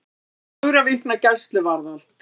Fjögurra vikna gæsluvarðhald